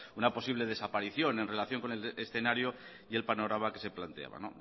una posible desaparición en relación con el escenario y el panorama que se planteaba